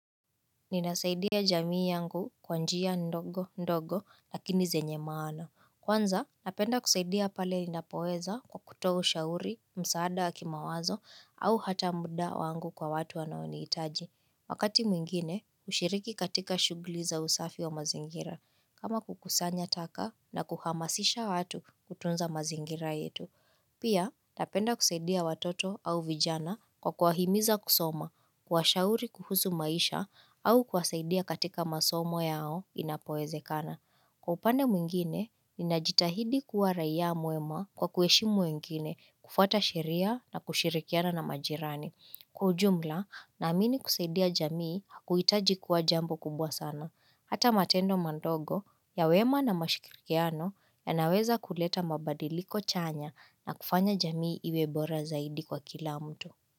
Ninasaidia jamii yangu kwa njia ndogo ndogo, lakini zenye maana. Kwanza, napenda kusaidia pale ninapoweza kwa kutoa ushauri, msaada wa kimawazo, au hata muda wangu kwa watu wanaonihitaji. Wakati mwingine, hushiriki katika shughuli za usafi wa mazingira, kama kukusanya taka na kuhamasisha watu kutunza mazingira yetu. Pia, napenda kusaidia watoto au vijana kwa kuwahimiza kusoma, kuwashauri kuhusu maisha au kuwasaidia katika masomo yao inapowezekana. Kwa upande mwingine, ninajitahidi kuwa raia mwema, kwa kuheshimu wengine kufuata sheria na kushirikiana na majirani. Kwa ujumla, naamini kusaidia jamii, huhitaji kuwa jambo kubwa sana. Hata matendo madogo ya wema na mashirikiano, yanaweza kuleta mabadiliko chanya na kufanya jamii iwe bora zaidi kwa kila mtu.